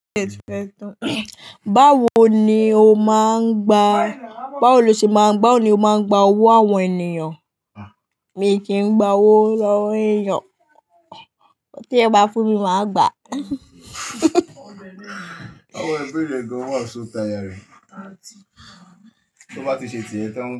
Báwo ni o máa ń gba, báwo lo ṣe máa ń gba, báwo ni o máa ń gba owó àwọn ènìyàn? Mi kì í gba owó lọ́wọ́ ènìyàn. Ohun tí ẹ bá fún mi, màá gbà. Àwọn ibere yii gan wa sóta yarí. Tó bá ti ṣe tìyẹn tán.